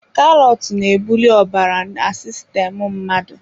Karọt na-ebuli ọbara na sistemu mmadụ.